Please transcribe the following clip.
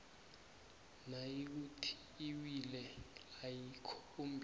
nayikuthi iwili ayikhombi